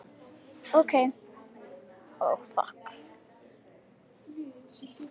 Ók í veg fyrir smábíl